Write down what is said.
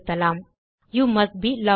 அது காட்டுவது you must be logged in